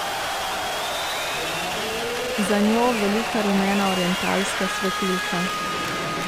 Za njo velika rumena orientalska svetilka.